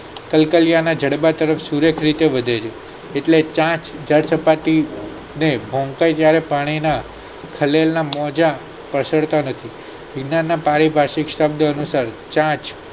કલ્કલિયા ના ઝડબા તરફ સુરજ વધે છે એટલે ચાંચ જળ સપાટી ને હોમ તો જયારે પાણી ને ખલેલ ના મોજા પ્રસરતા નથી વિજ્ઞાન ના પારિભાષિક શબ્દ અનુસાર ચાંચ